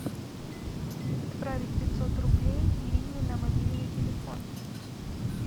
отправить пятьсот рублей ирине на мобильный телефон